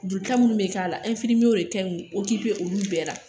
Joli ta munnu be k'a la, de kan k'u olu bɛɛ la.